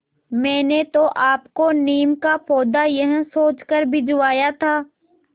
मैंने तो आपको नीम का पौधा यह सोचकर भिजवाया था